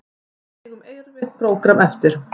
Við eigum erfitt prógramm eftir